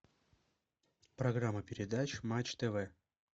программа передач матч тв